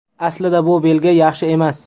Aslida bu belgi yaxshi emas.